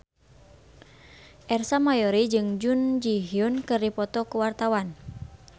Ersa Mayori jeung Jun Ji Hyun keur dipoto ku wartawan